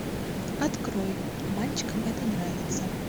открой мальчикам это нравится